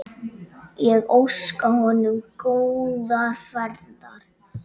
Ég óska honum góðrar ferðar.